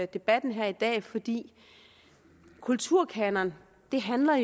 debatten her i dag fordi kulturkanon jo handler